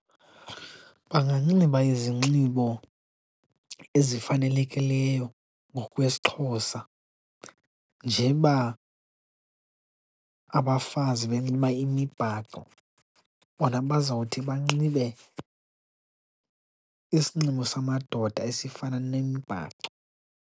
Banganxiba izinxibo ezifanelekileyo ngokwesiXhosa. Njeba abafazi benxiba imibhaco, bona bazawuthi banxibe isinxibo samadoda esifana nemibhaco.